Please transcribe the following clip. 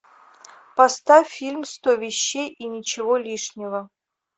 поставь фильм сто вещей и ничего лишнего